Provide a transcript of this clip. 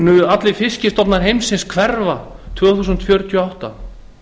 muni allir fiskstofnar heimsins hverfa árið tvö þúsund fjörutíu og átta